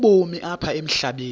ubomi apha emhlabeni